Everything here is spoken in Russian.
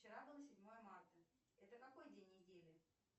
вчера было седьмое марта это какой день недели